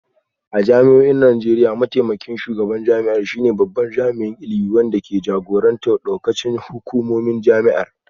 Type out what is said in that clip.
A jami'o'in Najeriya, mataimakin shugaban jami'ar shine babban jami'in ilimi wanda ke jagorantar daukacin hukumomin jami'ar